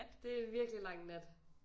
Det er en virkelig lang nat